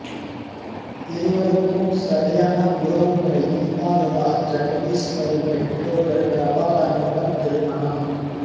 இருவருக்கும் சரியான உறவு முறை இல்லாததால் ஜெகதீஸ்வரின் பெற்றோர்கள் பிரபாகரனுடன் திருமணம்